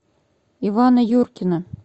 ивана юркина